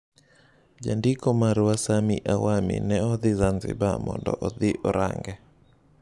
Jandiko marwa Sammy Awami ne odhi Zanzibar mondo odhi orang'e.